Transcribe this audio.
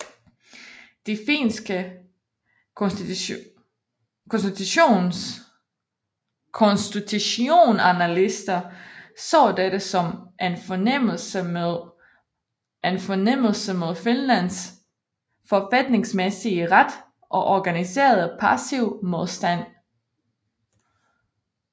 De finske konstitutionalister så dette som en fornærmelse mod Finlands forfatningsmæssige ret og organiserede passiv modstand